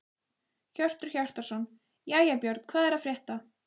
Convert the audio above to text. Hjörtur Hjartarson: Jæja Björn, hvað er að frétta?